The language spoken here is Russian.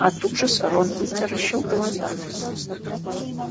от ужаса рон вытаращил глаза